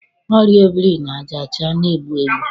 Ọrịa obirinajaọcha na-egbu egbu.